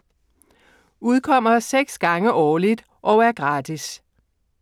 Udkommer 6 gange årligt og er gratis.